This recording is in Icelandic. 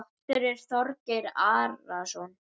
Prestur er Þorgeir Arason.